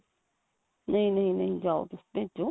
ਨਹੀਂ ਨਹੀਂ ਜਾਓ ਤੁਸੀਂ ਭੇਜੋ